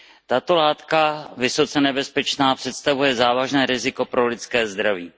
Tato látka, vysoce nebezpečná, představuje závažné riziko pro lidské zdraví.